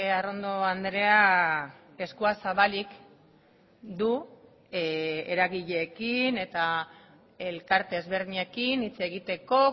arrondo andrea eskua zabalik du eragileekin eta elkarte ezberdinekin hitz egiteko